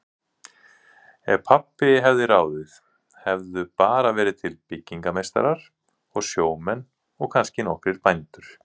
Ef pabbi hefði ráðið hefðu bara verið til byggingameistarar og sjómenn og kannski nokkrir bændur.